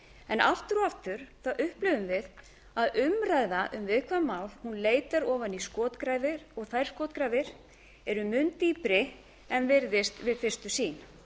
en aftur og aftur upplifum við að umræða um viðkvæm mál leitar ofan í skotgrafir og þær skotgrafir eru mun dýpri en virðist við fyrstu sýn